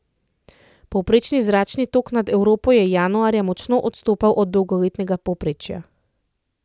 Povprečni zračni tok nad Evropo je januarja močno odstopal od dolgoletnega povprečja.